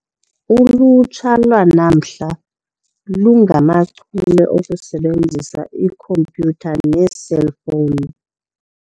Ulutsha lwanamhla lungachule okusebenzisa ikhompyutha neeselfowuni.